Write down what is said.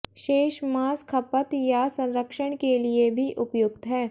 शेष मांस खपत या संरक्षण के लिए भी उपयुक्त है